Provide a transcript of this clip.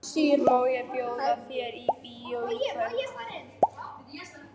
Má ég bjóða þér í bíó í kvöld?